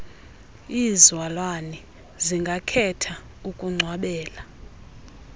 iizalwane zingakhetha ukungcwabela